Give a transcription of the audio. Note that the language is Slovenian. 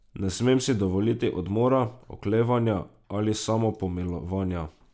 Ne smem si dovoliti odmora, oklevanja ali samopomilovanja.